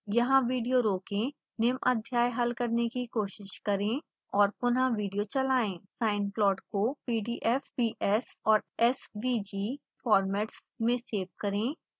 यहाँ विडियो रोकें निम्न अध्याय हल करने की कोशिश करें और पुनः विडियो चलाएं sine plot को pdf ps और svg formats में सेव करें